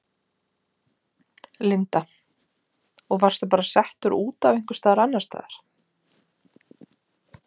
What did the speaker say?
Linda: Og varstu bara settur út einhvers staðar annars staðar?